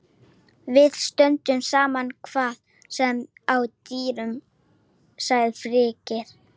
Við stöndum saman hvað sem á dynur sagði Friðrik.